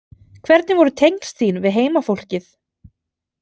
Hvernig voru tengsl þín við heimafólkið?